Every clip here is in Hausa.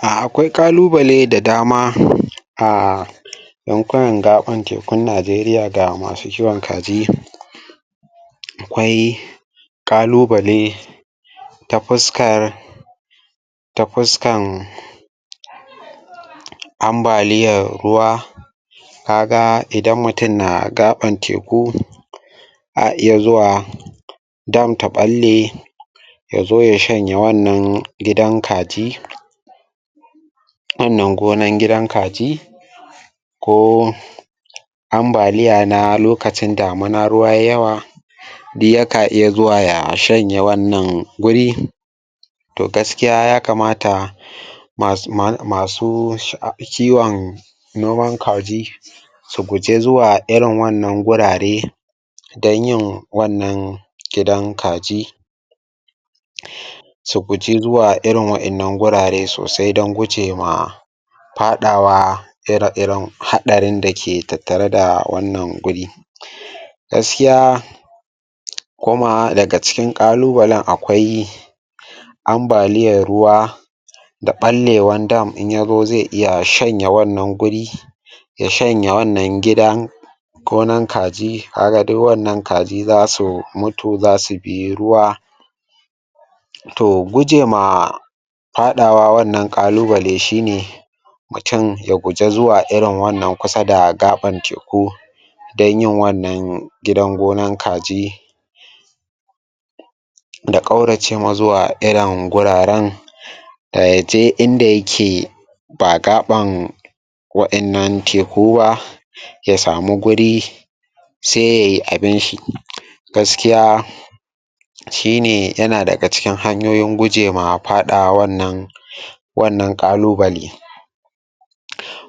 Akwai ƙalubale da dama a yankunan da abun Najeriya da masu kiwon kaji akwai ƙalubale ta fuskar ta fuskan ambaliyar ruwa ka ga idan mutum na gaɓan teku a iya zuwa don ta ɓalle ya zo ya shanya wannangidan kaji wannan gonan gidan kaji ko ambaliya na lokacin damina ruwa yai yawa yaka iya zuwa ya shanye wannan wuri to gaskiya ya kamata masu kiwon noman kaji su guji zuwa irin wannan wurare don yin wannan gidan kaji su guji zuwa irin wa'innan wurare sosai don guje ma faɗawa ire-iren haɗarin da ke tattare da wannan wuri gaskiya kuma daga cikin ƙalubalen akwai ambaliyar ruwa da ɓallewar dam in ya zo zai iya shanye wannan wuri ya sahanye wannan gidan gonan kaji kaga duk wannan kajin za su mutu za su bi ruwa to gujema faɗawa wannann ƙalubalen shi ne mutum ya guji zuwa kusa da wannan gaɓan teku don yin wannan gidan gonan kaji da ƙaurace ma zuwa irin guraren da ya je in da yake da gaɓan wa'innan teku ba ya samu guri sai yai abinshi. Gaskiya shi ne yana daga cikin hanyoyin guje ma wannan ƙalubale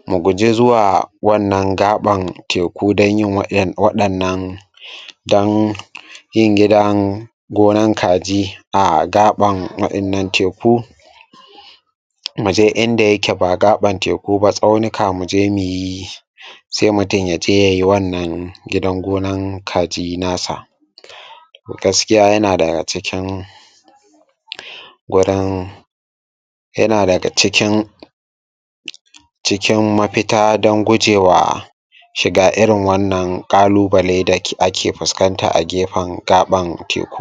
muguji zuwa wannan gaɓan teku don yin wa'in waɗannan don yin gidan gonan kaji a gaɓan wa'innan teku mu je inda yake ba gaɓan teku ba tsaunaka mu je mu yi, sai mutum ya je ya yi wannnan gidan kaji nasa. gaskiya yana da cikin gurin yana daga cikin cikin mafita don guje wa shiga irin wannan ƙalubale da ake fuskanta a gefen gaɓan teku.